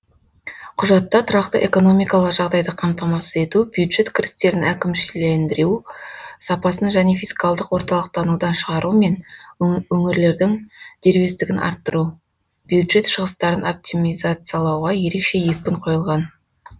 құжатта тұрақты экономикалық жағдайды қамтамасыз ету бюджет кірістерін әкімшілендіру сапасын және фискалдық орталықтанудан шығару мен өңірлердің дербестігін арттыру бюджет шығыстарын оптимизациялауға ерекше екпін қойылған